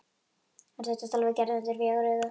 Hann þurfti að tala við Gerði undir fjögur augu.